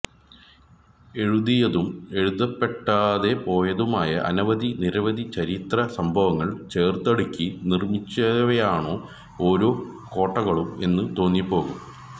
എഴുതിയതും എഴുതപ്പെടാതെ പോയതുമായ അനവധി നിരവധി ചരിത്ര സംഭവങ്ങള് ചേര്ത്തടുക്കി നിര്മിച്ചവയാണോ ഓരോ കോട്ടകളും എന്ന് തോന്നിപ്പോകും